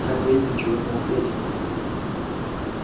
хозяин ничего не ответил